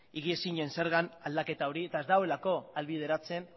higiezinen zergan aldaketa hori eta ez duelako ahalbideratzen